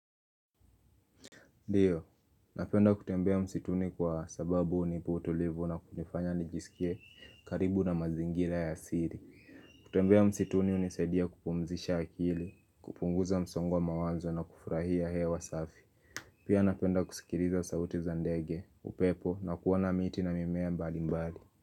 Ndio, napenda kutembea msituni kwa sababu hunipa utulivu na kunifanya nijisikie karibu na mazingira ya siri. Kutembea msituni hunisaidia kupumzisha akili, kupunguza msongo wa mawazo na kufurahia hewa safi. Pia napenda kusikiriza sauti za ndege, upepo na kuona miti na mimea mbali mbali.